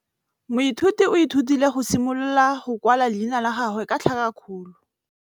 Moithuti o ithutile go simolola go kwala leina la gagwe ka tlhakakgolo.